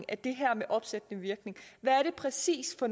af det her med opsættende virkning hvad er det præcis for